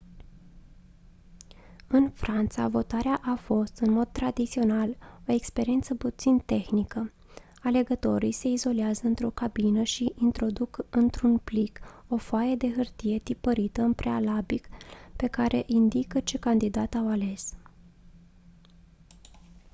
în franța votarea a fost în mod tradițional o experiență puțin tehnică alegătorii se izolează într-o cabină și introduc într-un plic o foaie de hârtie tipărită în prealabil pe care indică ce candidat au ales